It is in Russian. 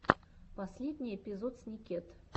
последний эпизод сникет